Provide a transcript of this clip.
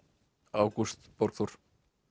Ágúst Borgþór